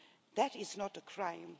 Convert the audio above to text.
That is not a crime.